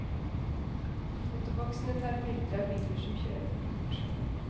Fotoboksene tar bilder av biler som kjører for fort.